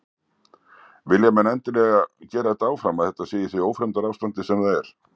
Vilja menn endilega gera þetta áfram að þetta sé í því ófremdarástandi sem það er?